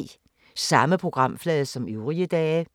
Samme programflade som øvrige dage